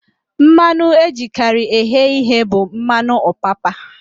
Mmanụ ejikarị eghe ihe bụ mmanụ ọpapa